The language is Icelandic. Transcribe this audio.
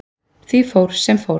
Því fór, sem fór.